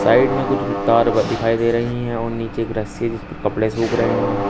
Side में कुछ तार दिखाई दे रही हैं और नीचे एक रस्सी जिस पर कपड़े सूख रहे हैं।